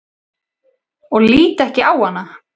Og lít ekki á hana.